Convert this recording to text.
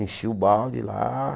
Enchia o balde lá.